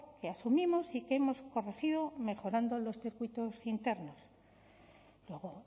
que asumimos y que hemos corregido mejorando los circuitos internos luego